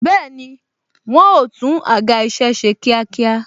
Bẹẹni, wọn o tún àga isẹ ṣe kíákíá